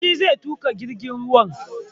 Shi zai tuƙa jirgin ruwan